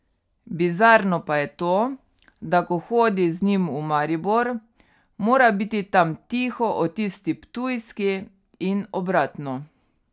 Bizarno pa je to, da ko hodi z njim v Maribor, mora biti tam tiho o tisti ptujski in obratno.